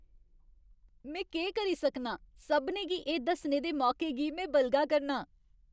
में केह् करी सकनां, सभनें गी एह् दस्सने दे मौके गी में बलगा करनां।